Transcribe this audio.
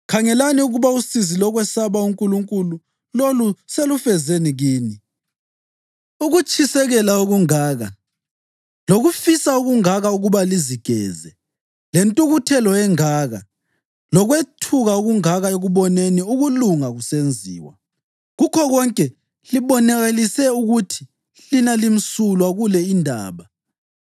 Khangelani ukuba usizi lokwesaba uNkulunkulu lolu selufezeni kini: ukutshisekela okungaka, lokufisa okungaka ukuba lizigeze, lentukuthelo engaka, lokwethuka okungaka ekuboneni ukulunga kusenziwa. Kukho konke libonakalise ukuthi lina limsulwa kule indaba.